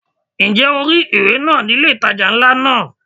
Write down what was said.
Ǹjẹ́ o rí ìwé náà ni ilé ìtajà ńlá náà?